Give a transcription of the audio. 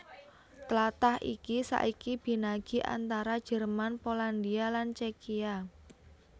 Tlatah iki saiki binagi antara Jerman Polandia lan Cékia